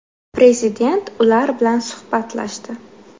Prezident ular bilan suhbatlashdi.